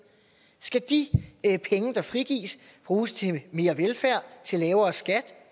skal de penge der frigives bruges til mere velfærd til lavere skat